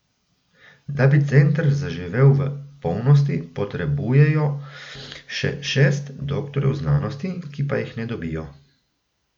Da bi center zaživel v polnosti, potrebujejo še šest doktorjev znanosti, ki pa jih ne dobijo.